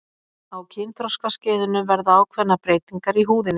á kynþroskaskeiðinu verða ákveðnar breytingar í húðinni